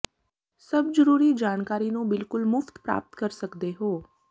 ਸਭ ਜਰੂਰੀ ਜਾਣਕਾਰੀ ਨੂੰ ਬਿਲਕੁਲ ਮੁਫ਼ਤ ਪ੍ਰਾਪਤ ਕਰ ਸਕਦੇ ਹੋ